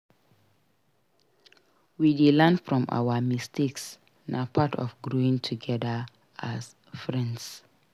We dey learn from our mistakes; na part of growing together as friends.